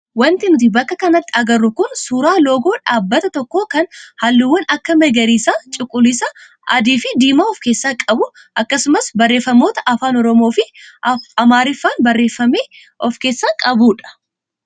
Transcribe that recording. Wanti nuti bakka kanatti agarru kun suuraa loogoo dhaabbata tokkoo kan halluuwwan akka magarisa, cuquliisa, adii fi diimaa of keessaa qabu akkasumas barreeffamoota afaan oromoo fi amaariffaan barreeffame of keessaa qabudha.